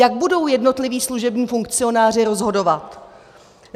Jak budou jednotliví služební funkcionáři rozhodovat?